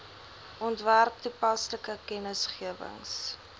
ontwerp toepaslike kennisgewings